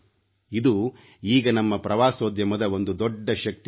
ಇದು ಈಗ ನಮ್ಮ ಪ್ರವಾಸೋದ್ಯಮದ ಒಂದು ದೊಡ್ಡ ಶಕ್ತಿಯಾಗಿದೆ